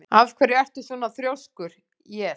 Af hverju ertu svona þrjóskur, Jes?